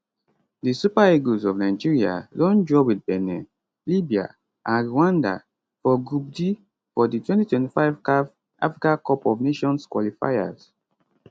di super eagles of nigeria don draw wit benin libya and rwanda for group d for di 2025 caf africa cup of nations qualifiers